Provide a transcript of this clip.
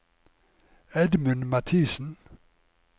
Edmund Mathiesen